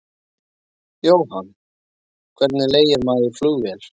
Jóhann: Og hvernig leigir maður flugvél?